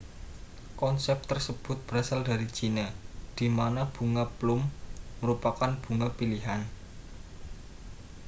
konsep tersebut berasal dari china di mana bunga plum merupakan bunga pilihan